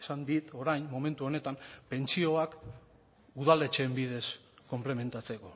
esan dit orain momentu honetan pentsioak udaletxeen bidez konplementatzeko